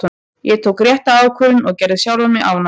Ég tók rétta ákvörðun og gerði sjálfan mig ánægðan.